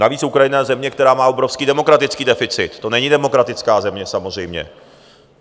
Navíc Ukrajina je země, která má obrovský demokratický deficit, to není demokratická země, samozřejmě.